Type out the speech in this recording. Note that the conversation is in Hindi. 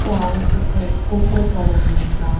के आगे कुछ स्कूटर खड़े हैं का--